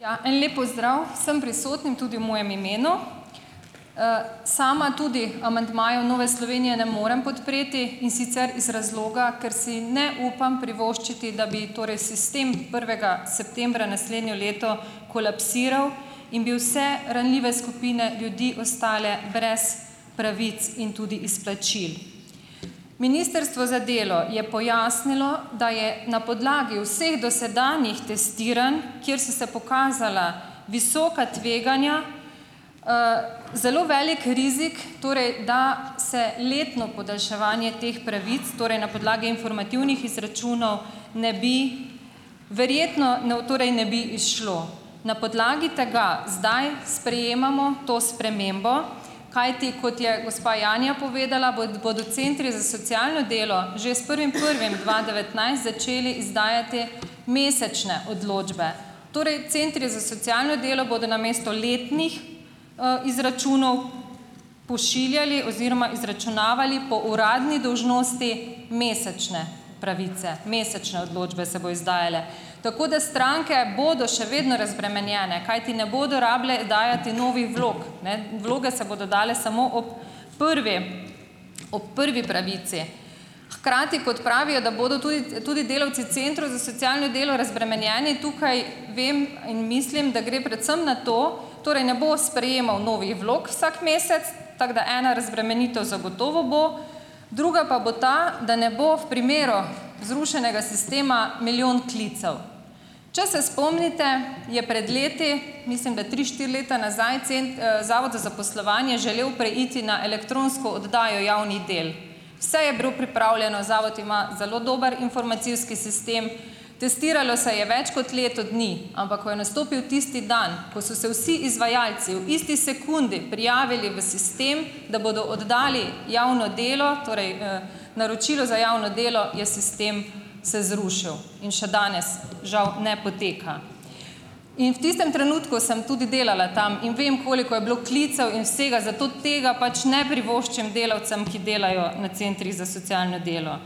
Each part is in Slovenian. Ja, en lep pozdrav vsem prisotnim tudi v mojem imenu. Sama tudi amandmajev Nove Slovenije ne morem podpreti, in sicer iz razloga, ker si ne upam privoščiti, da bi torej sistem prvega septembra naslednje leto kolapsiral in bi vse ranljive skupine ljudi ostale brez pravic in tudi izplačil. Ministrstvo za delo je pojasnilo, da je na podlagi vseh dosedanjih testiranj, kjer so se pokazala visoka tveganja, zelo veliko rizik, torej da se letno podaljševanje teh pravic, torej na podlagi informativnih izračunov, ne bi verjetno ne u torej ne bi izšlo. Na podlagi tega zdaj sprejemamo to spremembo, kajti kot je gospa Janja povedala, bodo centri za socialno delo že s prvim prvim dva devetnajst začeli izdajati mesečne odločbe. Torej centri za socialno delo bodo namesto letnih izračunov pošiljali oziroma izračunavali po uradni dolžnosti mesečne pravice, mesečne odločbe se bojo izdajale. Tako da stranke bodo še vedno razbremenjene, kajti ne bodo rabile dajati novih vlog, ne. Vloge se bodo dali samo ob prvi ob prvi pravici. Hkrati, kot pravijo, da bodo tudi tudi delavci centrov za socialno delo razbremenjeni tukaj vem in mislim, da gre predvsem na to, torej ne bo sprejemal novih vlog vsak mesec, tako da ena razbremenitev zagotovo bo, druga pa bo ta, da ne bo v primeru zrušenega sistema milijon klicev. Če se spomnite, je pred leti, mislim, da tri, štiri leta nazaj, zavod za zaposlovanje želel preiti na elektronsko oddajo javnih del. Vse je dobro pripravljeno, zavod ima zelo dober informacijski sistem, testiralo se je več kot leto dni, ampak ko je nastopil tisti dan, ko so se vsi izvajalci ob isti sekundi prijavili v sistem, da bodo oddali javno delo, torej naročilo za javno delo, je sistem se zrušil. In še danes, žal, ne poteka. In v tistem trenutku sem tudi delala tam. In vem, koliko je bilo klicev in vsega, zato tega pač ne privoščim delavcem, ki delajo na centrih za socialno delo.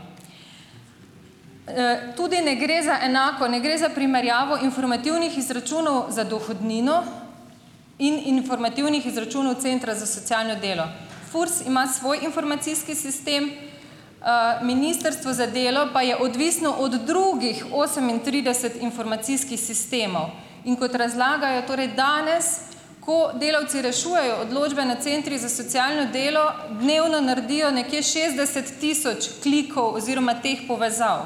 Tudi ne gre za enako, ne gre za primerjavo informativnih izračunov za dohodnino in informativnih izračunov centra za socialno delo. FURS ima svoj informacijski sistem. Ministrstvo za delo pa je odvisno od drugih osemintrideset informacijskih sistemov. In kot razlagajo torej danes, ko delavci rešujejo odločbe na centrih za socialno delo, dnevno naredijo nekje šestdeset tisoč klikov oziroma teh povezav.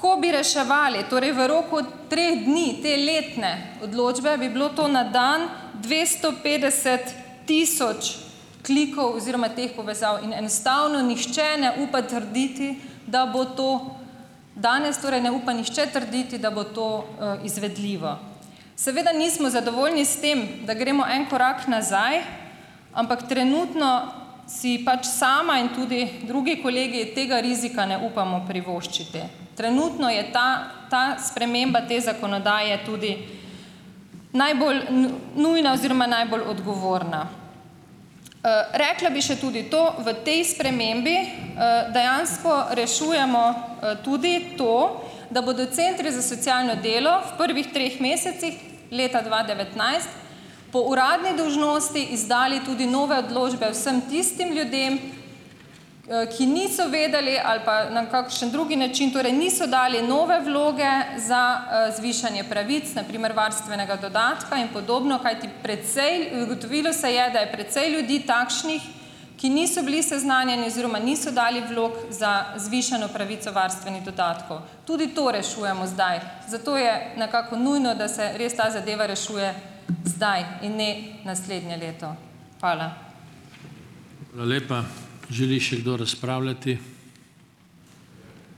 Ko bi reševali, torej v roku treh dni, te letne odločbe, bi bilo to na dan dvesto petdeset tisoč klikov oziroma teh povezav in enostavno nihče ne upa trditi, da bo to danes, torej ne upa nihče trditi, da bo to izvedljivo. Seveda nismo zadovoljni s tem, da gremo en korak nazaj, ampak trenutno si pač sama in tudi drugi kolegi tega rizika ne upamo privoščiti. Trenutno je ta, ta sprememba te zakonodaje tudi najbolj nujna oziroma najbolj odgovorna. Rekla bi še tudi to, v tej spremembi dejansko rešujemo tudi to, da bodo centri za socialno delo v prvih treh mesecih leta dva devetnajst po uradni dolžnosti izdali tudi nove odločbe vsem tistim ljudem, ki niso vedeli, ali pa na kakšen drug način, torej, niso dali nove vloge za zvišanje pravic, na primer varstvenega dodatka in podobno, kajti precej ugotovilo se je, da je precej ljudi takšnih, ki niso bili seznanjeni oziroma niso dali vlog za zvišano pravico varstvenih dodatkov. Tudi to rešujemo zdaj, zato je nekako nujno, da se res ta zadeva rešuje zdaj in ne naslednje leto. Hvala.